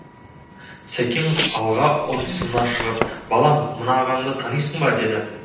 сәкең алға ұмсына шығып балам мына ағаңды танисың ба деді